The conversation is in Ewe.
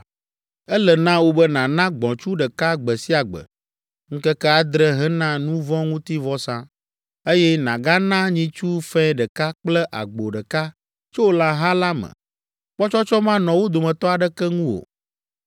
“Ele na wò be nàna gbɔ̃tsu ɖeka gbe sia gbe, ŋkeke adre hena nu vɔ̃ ŋuti vɔsa, eye nàgana nyitsu fɛ̃ ɖeka kple agbo ɖeka tso lãha la me, kpɔtsɔtsɔ manɔ wo dometɔ aɖeke ŋu o.